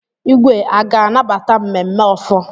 Igwe a ga-anabata mmemme ofor?